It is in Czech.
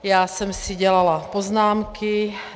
Já jsem si dělala poznámky.